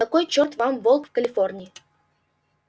какой чёрт вам волк в калифорнии